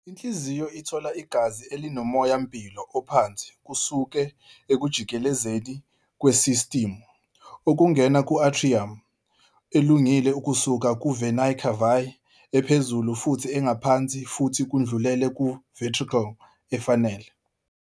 Inhliziyo ithola igazi elinomoya-mpilo ophansi kusuka ekujikelezeni kwesistimu, okungena ku-atrium elungile kusuka ku-venae cavae ephezulu futhi engaphansi futhi kudlulele ku-ventricle efanele.